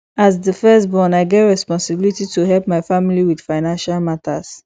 as the firstborn i get responsibility to help my family with financial matters